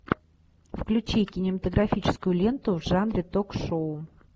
включи кинематографическую ленту в жанре ток шоу